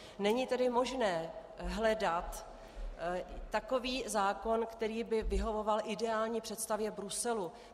Není tedy možné hledat takový zákon, který by vyhovoval ideální představě Bruselu.